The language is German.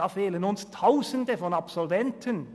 Da fehlen uns Tausende von Absolventen!